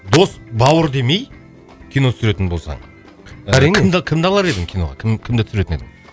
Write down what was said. дос бауыр демей кино түсіретін болсаң әрине кімді кімді алар едің киноғы кім кімді түсіретін едің